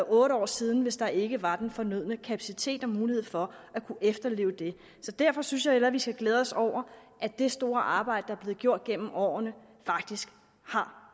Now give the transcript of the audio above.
otte år siden hvis der ikke var den fornødne kapacitet og mulighed for at kunne efterleve det så derfor synes jeg hellere vi skal glæde os over at det store arbejde der er blevet gjort gennem årene faktisk har